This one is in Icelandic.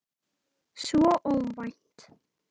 Svo óvænt.